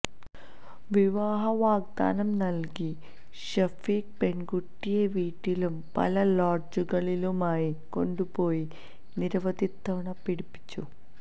വിവാഹ വാഗ്ദാനം നല്കി ഷഫീഖ് പെൺകുട്ടിയെ വീട്ടിലും പല ലോഡ്ജുകളിലുമായി കൊണ്ടുപോയി നിരവധി തവണ പീഡിപ്പിച്ചു